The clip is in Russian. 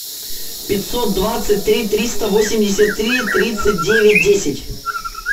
пятьсот двадцать три триста восемьдесят три тридцать девять десять